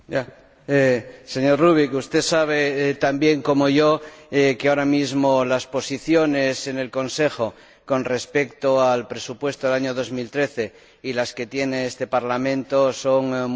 Señor Rübig, usted sabe tan bien como yo que ahora mismo las posiciones en el Consejo con respecto al presupuesto del año 2013 y las que defiende este Parlamento son muy divergentes.